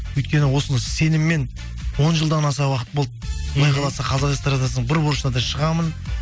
өйткені осыны сеніммен он жылдан аса уақыт болды мхм құдай қаласа қазақ эстрадасының бір бұрышына да шығамын